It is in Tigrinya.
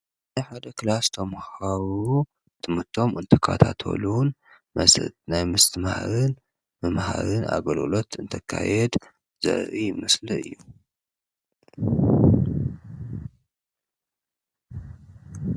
ኣብ ሓደ ክላስ ተመሃሮ ትምህርቶም እንትከታተሉን ናይ ምስትምሃርን ምምሃርን ኣገልግሎት እንትካየድ ዘርኢ ምስሊ ምስሊ እዩ፡፡